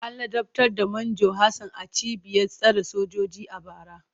An ladabtar da Manjo Hassan a cibiyar tsare sojoji a bara.